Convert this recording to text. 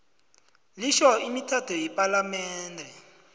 litjho imithetho yepalamende